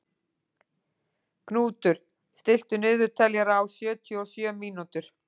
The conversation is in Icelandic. Knútur, stilltu niðurteljara á sjötíu og sjö mínútur.